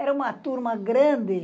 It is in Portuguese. Era uma turma grande.